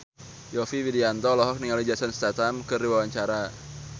Yovie Widianto olohok ningali Jason Statham keur diwawancara